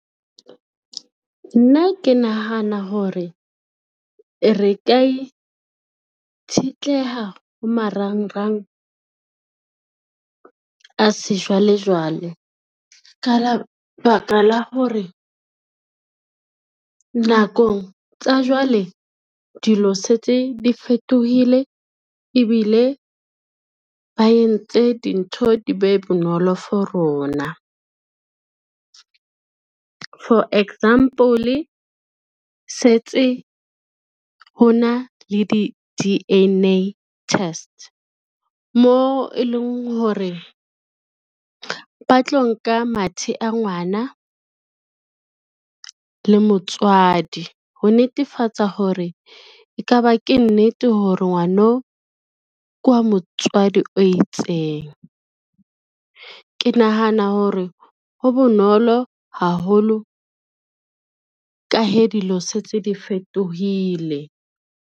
Nna ke nahana hore, re ka itshetleha ho marangrang a sejwalejwale ka lebaka la hore, nakong tsa jwale dilo setse, di fetohile ebile ba entse dintho di be bonolo for rona. For example, setse ho na le di-D_N_A test, mo e leng hore ba tlo nka mathe a ngwana le motswadi, ho netefatsa hore e ka ba ke nnete hore ngwano ke wa motswadi o itseng. Ke nahana hore ho bonolo haholo ka he dilo setse di fetohile.